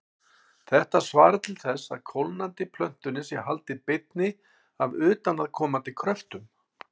Þetta svarar til þess að kólnandi plötunni sé haldið beinni af utanaðkomandi kröftum.